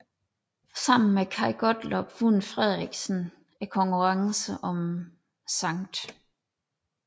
Sammen med Kaj Gottlob vandt Frederiksen konkurrencen om Skt